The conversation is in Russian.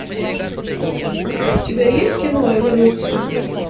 у тебя есть кино эволюция